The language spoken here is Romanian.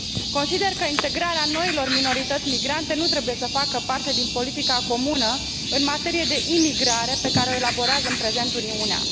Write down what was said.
Consider că integrarea noilor minorități migrante nu trebuie să facă parte din politica comună în materie de imigrare pe care o elaborează în prezent Uniunea.